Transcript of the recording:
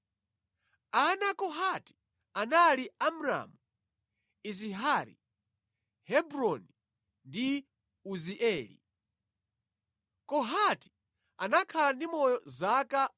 Ana a Kohati anali Amramu, Izihari, Hebroni ndi Uzieli. Kohati anakhala ndi moyo zaka 133.